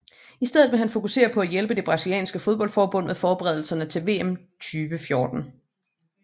I stedet vil han fokusere på at hjælpe det brasilianske fodboldforbund med forberedelserne til VM 2014